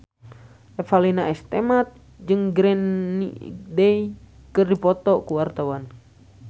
Revalina S. Temat jeung Green Day keur dipoto ku wartawan